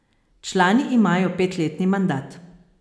Člani imajo petletni mandat.